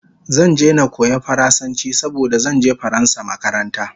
Zan je na koya faransanchi saboda zanje faransa makaranta